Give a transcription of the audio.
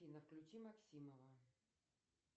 афина включи максимова